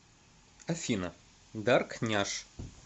афина дарк няш